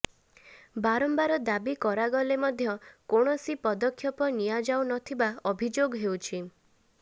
ବାରମ୍ବାର ଦାବି କରାଗଲେ ମଧ୍ୟ କୌଣସି ପଦକ୍ଷେପ ନିଆଯାଉ ନ ଥିବା ଅଭିଯୋଗ ହେଉଛି